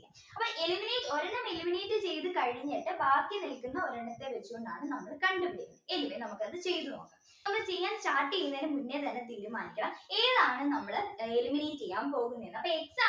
eliminate ചെയ്തു കഴിഞ്ഞിട്ട് ബാക്കി നിൽക്കുന്ന ഒരെണ്ണത്തെ വെച്ചുകൊണ്ടാണ് നമ്മളെ കണ്ടു പിടിക്കുന്നത് anyway നമുക്കത് ചെയ്തു നോക്കാം നമ്മൾ ചെയ്യാൻ start ചെയ്യുന്നതിനു മുന്നേ തന്നെ തീരുമാനിക്കണം ഏതാണ് നമ്മൾ eliminate ചെയ്യാൻ പോകുന്നത് അപ്പോ X